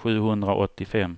sjuhundraåttiofem